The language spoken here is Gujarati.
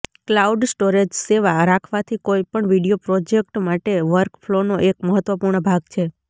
ક્લાઉડ સ્ટોરેજ સેવા રાખવાથી કોઈપણ વિડિઓ પ્રોજેક્ટ માટે વર્કફ્લોનો એક મહત્વપૂર્ણ ભાગ છે